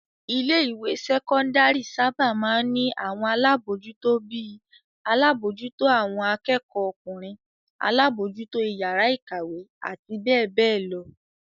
Ilé-ìwé sẹ́kọ́ndárì sábà máa ń ní àwọn alábòójútó bí i; alábòójútó àwọn akẹ́kọ̀ọ́ ọkùnrin, alábòójútó ìyàrá-ìkàwé àti bẹ́ẹ̀ bẹ́ẹ̀ lọ.